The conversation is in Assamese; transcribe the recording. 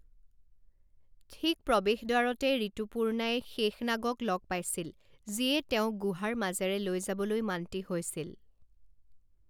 ঠিক প্ৰৱেশদ্বাৰতে ঋতুপূৰ্ণাই শেশনাগক লগ পাইছিল যিয়ে তেওঁক গুহাৰ মাজেৰে লৈ যাবলৈ মান্তি হৈছিল।